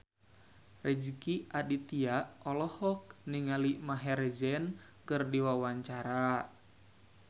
Rezky Aditya olohok ningali Maher Zein keur diwawancara